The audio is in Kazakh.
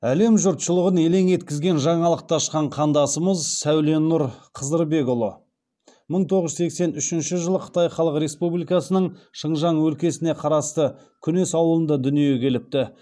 әлем жұртшылығын елең еткізген жаңалықты ашқан қандасымыз сәуленұр қызырбекұлы мың тоғыз жүз сексен үшінші жылы қытай халық республикасының шыңжаң өлкесіне қарасты күнес ауылында дүниеге келіпті